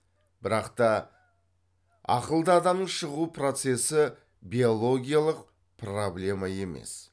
бірақ та ақылды адамның шығу процесі биологиялық проблема емес